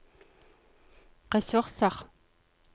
ressurser